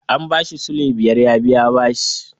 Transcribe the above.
An ba shi sulai biyar ya biya bashi.